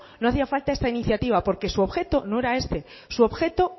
no hacía falta esa iniciativa porque su objeto no era este su objeto